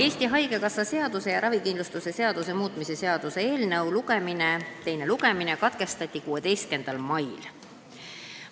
Eesti Haigekassa seaduse ja ravikindlustuse seaduse muutmise seaduse eelnõu teine lugemine katkestati 16. mail.